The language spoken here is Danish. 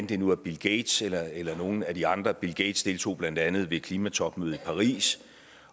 det nu er bill gates eller eller nogle af de andre bill gates deltog blandt andet i klimatopmødet i paris